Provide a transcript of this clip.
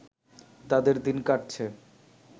তাদের দিন কাটছে